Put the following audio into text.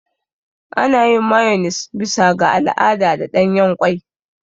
Ana yin Mayones bisa ga al'ada da ɗanyen ƙwai.